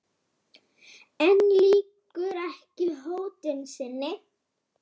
En lýkur ekki hótun sinni.